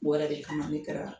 Bɔra de kama ne kɛra